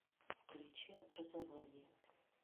включи образование